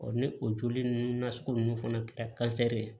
ni o joli ninnu nasugu ninnu fana kɛ ye